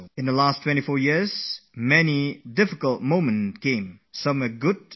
I faced a lot of difficult moments in these last 24 years and many a times there were good moments too